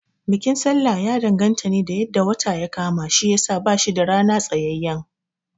Bikin sallah ya danganta ne da yadda wata ya kama shiyasa bashi da rana tsayayyen